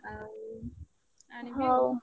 ଆଉ ଆଣିବି ।